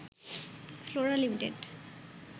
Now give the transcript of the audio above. Flora limited